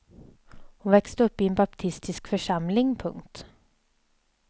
Hon växte upp i en baptistisk församling. punkt